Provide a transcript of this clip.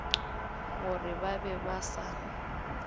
gore ba be ba sa